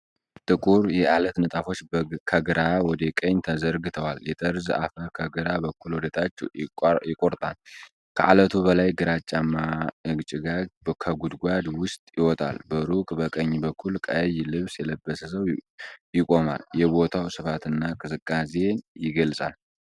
ጥቁር የዐለት ንጣፎች ከግራ ወደ ቀኝ ተዘርግተዋል። የጠርዝ አፈር ከግራ በኩል ወደ ታች ይቆርጣል። ከዐለቱ በላይ ግራጫማ ጭጋግ ከጉድጓድ ውስጥ ይወጣል። በሩቅ በቀኝ በኩል ቀይ ልብስ የለበሰ ሰው ይቆማል፤ የቦታውን ስፋትና ቅዝቃዜ ይገልጻል።